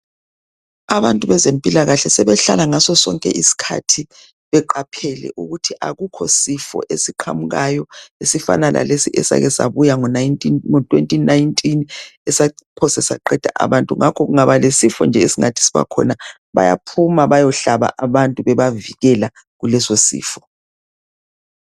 Abantu bezempilakahle sebehlala ngaso sonke isikhathi beqaphele ukuthi akukho sifo esiqamukayo esifana lalesi esikesabuya ngo2019 esaphosa saqeda abantu ngakho kungaba lesifo esingathi sibakhona bayaphuma beyohlaba abantu bebavikela kulesosifo.